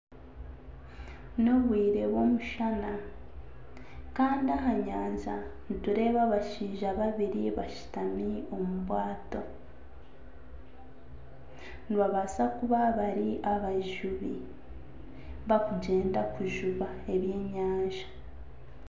N'obwire bw'omushana kandi aha nyanja nitureeba abashaija babiri bashutami omu bwato. Nibabasa kuba bari abajubi bakugyenda kujuba ebyenyanja.